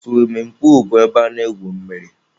Suwimin puulu bụ ebe a na-egwu mmiri.